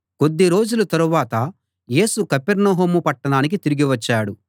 కొద్ది రోజుల తరువాత యేసు కపెర్నహూము పట్టణానికి తిరిగి వచ్చాడు